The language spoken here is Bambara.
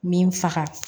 Min faga